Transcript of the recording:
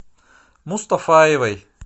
мустафаевой